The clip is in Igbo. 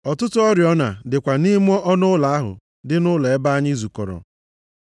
Ọtụtụ oriọna dịkwa nʼime ọnụụlọ ahụ dị nʼụlọ elu ebe anyị zukọrọ.